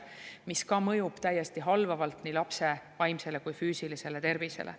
Ka see mõjub täiesti halvavalt nii lapse vaimsele kui ka füüsilisele tervisele.